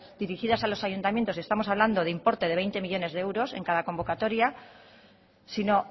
dirigidas a los ayuntamientos y estamos hablando de importe de veinte millónes de euros en cada convocatoria sino